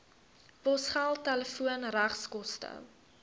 posgeld telefoon regskoste